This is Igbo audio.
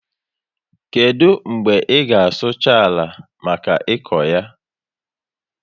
Kedu mgbe i ga sucha àlà maka ịkọ ya?